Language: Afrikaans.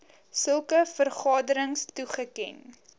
sulke vergaderings toegeken